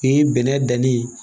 U ye bɛnɛ danni ye